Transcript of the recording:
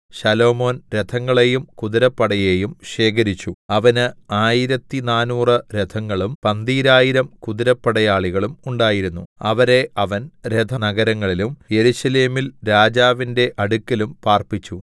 ശലോമോൻ രഥങ്ങളെയും കുതിരപ്പടയേയും ശേഖരിച്ചു അവന് ആയിരത്തിനാനൂറ് രഥങ്ങളും പന്തീരായിരം കുതിരപ്പടയാളികളും ഉണ്ടായിരുന്നു അവരെ അവൻ രഥനഗരങ്ങളിലും യെരൂശലേമിൽ രാജാവിന്റെ അടുക്കലും പാർപ്പിച്ചു